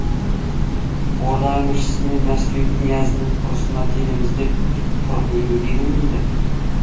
орда әміршісі мен мәскеу князінің ұрысына келеміз деп тұрып неге келмейді